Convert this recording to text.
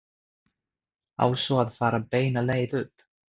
Á svo að fara beina leið upp?